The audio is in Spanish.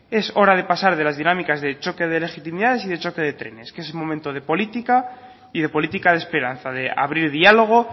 es hora de pasar de las dinámicas de choque de legitimidades y de choque de trenes que es el momento de política y de política de esperanza de abrir diálogo